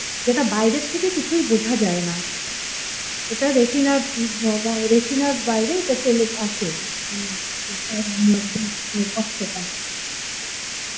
যেটা বাইরে থেকে কিছুই বোঝা যায় ন এটা রেটিনার রেটিনার বাইরে এটা চলে আসে